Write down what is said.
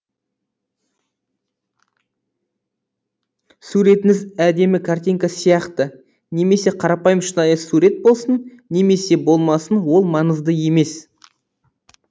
суретіңіз әдемі картинка сияқты немесе қарапайым шынайы сурет болсын немесе болмасын ол маңызды емес